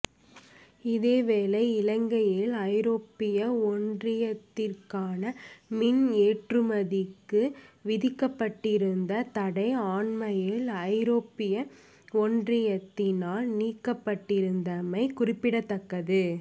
இதேவேளை இலங்கையின் ஐரோப்பிய ஒன்றியத்திற்கான மீன் ஏற்றுமதிக்கு விதிக்கப்பட்டிருந்த தடை அண்மையில் ஐரோப்பிய ஒன்றியத்தினால் நீக்கப்பட்டிருந்தமை குறிப்பிடத்தக்கது